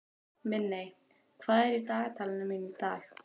Minney, hvað er í dagatalinu mínu í dag?